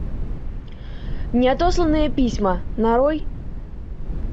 неотосланные письма нарой